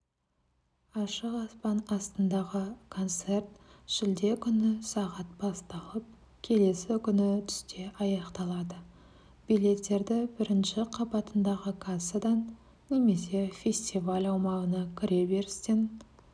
ашық аспан астындағы концерт шілде күні сағат басталып келесі күні түсте аяқталады билеттерді бірінші қабатындағы кассадан немесе фестиваль аумағына кіре берістен